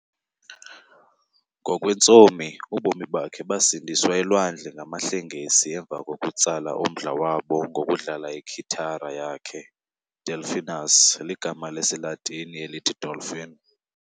Ngokwentsomi, ubomi bakhe basindiswa elwandle ngamahlengesi emva kokutsala umdla wabo ngokudlala ikhithara yakhe, 'Delphinus' ligama lesiLatini elithi 'dolphin'.